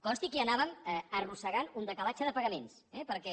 consti que ja anàvem arrossegant un decalatge de pagaments eh perquè